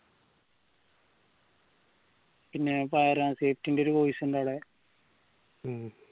പിന്നെ fire and safety ന്റെ ഒരു coursse ഉണ്ട് അവിടെ